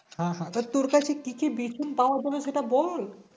হ্যাঁ হ্যাঁ তো তোর কাছে কি কি বিচুন পাওয়া যাবে সেটা বল